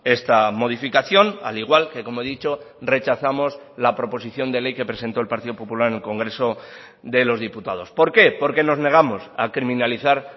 esta modificación al igual que como he dicho rechazamos la proposición de ley que presentó el partido popular en el congreso de los diputados por qué porque nos negamos a criminalizar